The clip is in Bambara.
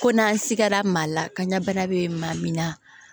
Ko n'an sigara maa la kaɲa bana bɛ maa min na